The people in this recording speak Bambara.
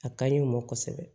A ka ɲi o ma kosɛbɛ